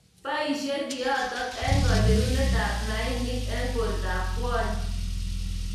Boishei kiotok eng kacherunet ab mainik eng borto ab kwony.